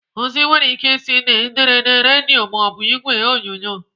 Ozi nwere ike ị si n'ederede, redio maọbụ igwe onyonyo.